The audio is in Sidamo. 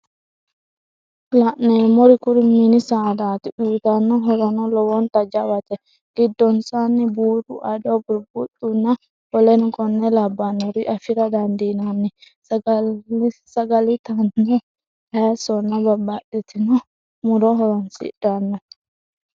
la'neemeri kuri mini sadaati. uyitanno horono lowonta jawate. giddonsanni buuro, ado, buribuxxonna woleno konne labbannore afira dandiinanni. saga'litannohu hayisonna babbaxxitinno muro horoonsidhanno?